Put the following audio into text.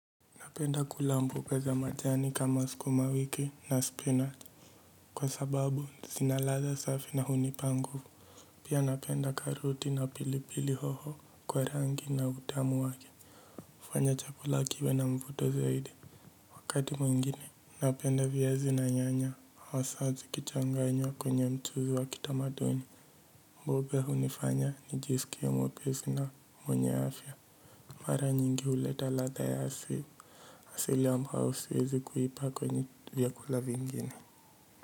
Napenda kula mboga za majani kama skuma wiki na spinach. Kwa sababu, zina ladha safi na hunipa nguvu. Pia napenda karoti na pilipili hoho kwa rangi na utamu wake. Fanya chakula kiwe na mvuto zaidi. Wakati mwingine, napenda viazi na nyanya. Hasa zikichanganywa kwenye mchuzi wa kitamaduni. Mboga hunifanya nijiskie mwepesi na mwenye afya. Mara nyingi huleta latha ya asili. Asili ambao siwezi kuipa kwenye. Vyakula vingine.